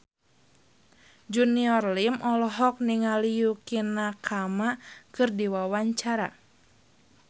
Junior Liem olohok ningali Yukie Nakama keur diwawancara